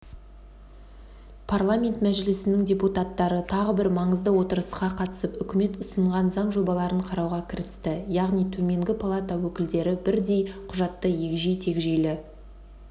парламент мәжілісінің депутаттары тағы бір маңызды отырысқа қатысып үкімет ұсынған заң жобаларын қарауға кірісті яғни төменгі палата өкілдері бірдей құжатты егжей-тегжейлі